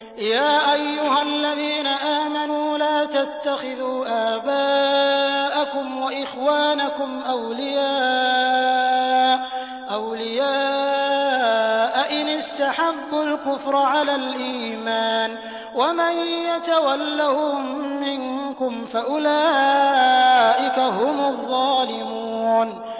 يَا أَيُّهَا الَّذِينَ آمَنُوا لَا تَتَّخِذُوا آبَاءَكُمْ وَإِخْوَانَكُمْ أَوْلِيَاءَ إِنِ اسْتَحَبُّوا الْكُفْرَ عَلَى الْإِيمَانِ ۚ وَمَن يَتَوَلَّهُم مِّنكُمْ فَأُولَٰئِكَ هُمُ الظَّالِمُونَ